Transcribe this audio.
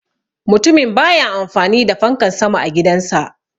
Mutumin baya amfani da fankan sama a gidan sa.